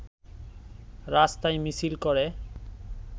রাস্তায় মিছিল করে